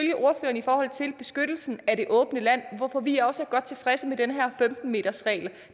i forhold til beskyttelsen af det åbne land hvorfor vi også er godt tilfredse med den her femten metersregel